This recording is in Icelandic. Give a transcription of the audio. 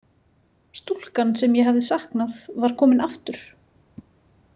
Stúlkan sem ég hafði saknað var komin aftur.